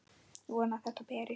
Vona að þetta berist.